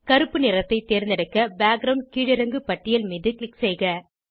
கருப்பு நிறத்தை தேர்ந்தெடுக்க பேக்கிரவுண்ட் கீழிறங்கு பட்டியல் மீது க்ளிக் செய்க